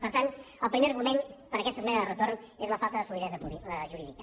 per tant el primer argument per aquesta esmena de retorn és la falta de solidesa jurídica